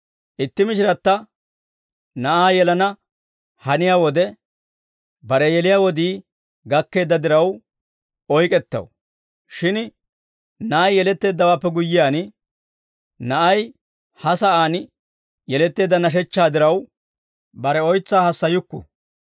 Itti mishiratta na'aa yelana haniyaa wode, bare yeliyaa wodii gakkeedda diraw, oyk'ettaw; shin na'ay yeletteeddawaappe guyyiyaan, na'ay ha sa'aan yeletteedda nashechchaa diraw, bare oytsaa hassayukku.